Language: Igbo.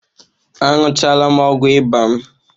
Aṅụchaala m ọgwụ ịba m